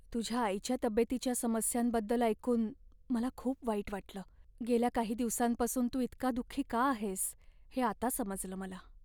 तुझ्या आईच्या तब्येतीच्या समस्यांबद्दल ऐकून मला खूप वाईट वाटलं. गेल्या काही दिवसांपासून तू इतका दुःखी का आहेस हे आता समजलं मला.